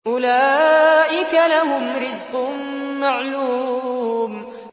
أُولَٰئِكَ لَهُمْ رِزْقٌ مَّعْلُومٌ